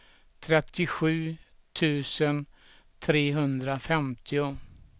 trettiosju tusen trehundrafemtio